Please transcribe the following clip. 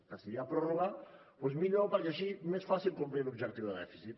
que si hi ha pròrroga doncs millor perquè així més fàcil complir l’objectiu de dèficit